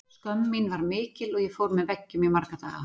Skömm mín var mikil og ég fór með veggjum í marga daga.